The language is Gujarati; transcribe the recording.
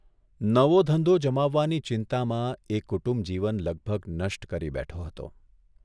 નવો ધંધો જમાવવાની ચિંતામાં એ કુટુંબ જીવન લગભગ નષ્ટ કરી બેઠો હતો.